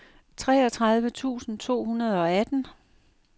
treogtredive tusind to hundrede og atten